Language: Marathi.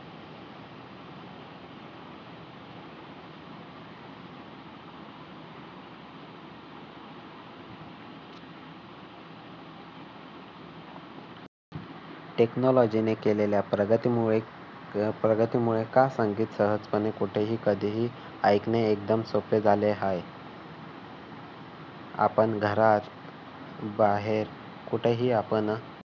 technology ने केलेल्या प्रगतीमुळे का प्रगतीमुळे का संगीत सहजपणे कुठेही कधीही ऐकणे एकदम सोपे झाले आहे. आपण घरात बाहेर कुठेही आपण